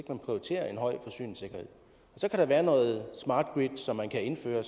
man prioriterer en høj forsyningssikkerhed så kan der være noget smart grid som man kan indføre